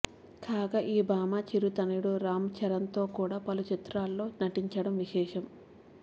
కాగా ఈ భామ చిరు తనయుడు రామ్చరణ్తో కూడా పలు చిత్రాలలో నటించడం విశేషం